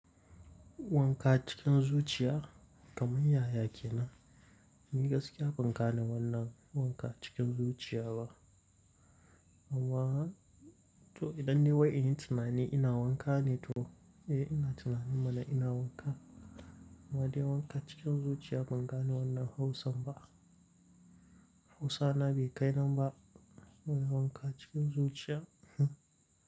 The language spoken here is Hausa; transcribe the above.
Wanka cikin zuciya kamar yaya kenan? Ni gaskiya ban gane wannan wanka cikin zuciya ba. Amma to idan ni wai inyi tunani ina wanka ne to, eh ina tunani mana ina wanka. Amma dai wanka cikin zuciya ban gane wannan Hausan ba. Hausana bai kai nan ba wanka cikin zuciya hmn.